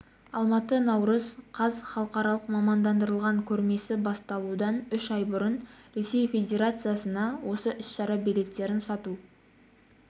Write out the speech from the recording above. алматы наурыз қаз халықаралық мамандандырылған көрмесі басталудан үш ай бұрын ресей федерациясында осы іс-шара билеттерін сату